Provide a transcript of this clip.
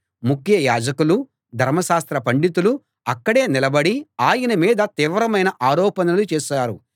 ముఖ్య యాజకులూ ధర్మశాస్త్ర పండితులూ అక్కడే నిలబడి ఆయన మీద తీవ్రమైన ఆరోపణలు చేశారు